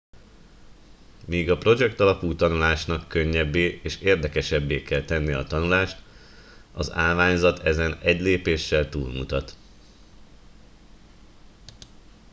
míg a projektalapú tanulásnak könnyebbé és érdekesebbé kell tennie a tanulást az állványzat ezen egy lépéssel túlmutat